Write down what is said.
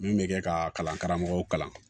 Min bɛ kɛ ka kalan karamɔgɔw kalan